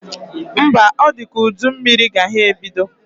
Mba, ọ dị ka udu mmiri ga ha ebido